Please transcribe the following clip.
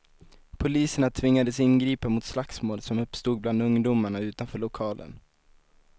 Poliserna tvingades ingripa mot slagsmål som uppstod bland ungdomarna utanför lokalen.